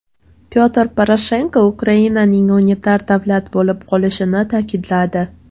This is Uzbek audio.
Pyotr Poroshenko Ukrainaning unitar davlat bo‘lib qolishini ta’kidladi.